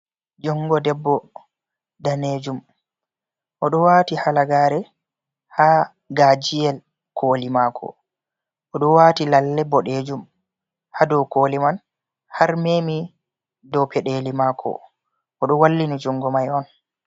Jungo debbo danejum oɗo waati halagare ha gajiyel koli mako. Oɗo waati lalle boɗejum ha dou koli man har memi dou peɗeli maako. Oɗo wallini jungo mai on.